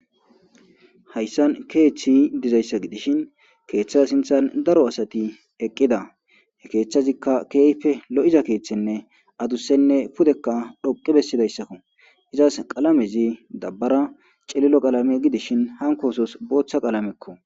Hayssan keeththi dizayssa gidishin keeththaza sinthan daro asati eqqida he keeththazikka keeyfe lo7iza keeththenne adusenne pudekka dhoqi bessidayssakko izas qalamezi dabbara celilo qalame gidishin hankoosos booththa qalamekko.